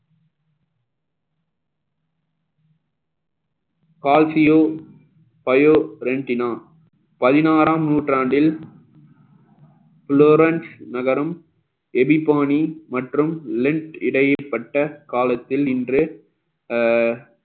கால்சியோ bio rentina பதினாறாம் நூற்றாண்டில் புலோரஞ் நகரம் எபி பானி மற்றும் லென்த் இடையேப்பட்ட காலத்தில் இன்று அஹ்